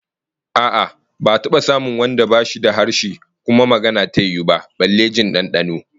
A'a, ba'a taba samun wanda bashi da harshe kuma magana ta yiwu ba, balle jin dandano